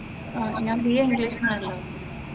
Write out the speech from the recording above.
ഞാൻ B. A ഇംഗ്ലീഷിന് ആണല്ലോ